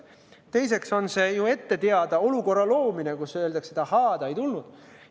Teiseks on see ju ette teada olukorra loomine, kus saaks öelda, et ahaa, ta ei tulnud.